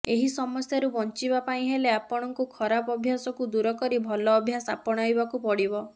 ଏହି ସମସ୍ୟାରୁ ବଞ୍ଚିବା ପାଇଁ ହେଲେ ଆପଣଙ୍କୁ ଖରାପ ଅଭ୍ୟାସକୁ ଦୂର କରି ଭଲ ଅଭ୍ୟାସ ଆପଣାଇବାକୁ ପଡ଼ିବ